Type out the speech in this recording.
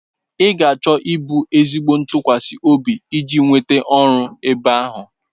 Ị ga-achọ ịbụ ezigbo ntụkwasị obi iji nweta ọrụ ebe ahụ.